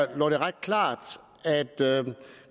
det ret klart at